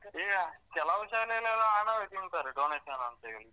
ಈಗ ಕೆಲವು ಶಾಲೆಯಲೆಲ್ಲಾ ಹಣವೆ ತಿಂತಾರೆ donation ಅಂತ ಹೇಳಿ.